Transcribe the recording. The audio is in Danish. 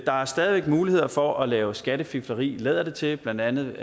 der er stadig væk muligheder for at lave skattefifleri lader det til blandt andet